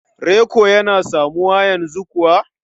Reko yana samuwa yanzu kuwa?